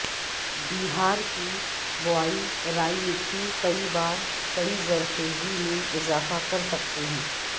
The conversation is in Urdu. بہار کی بوائی رائی مٹی کئی بار کی زرخیزی میں اضافہ کر سکتے ہیں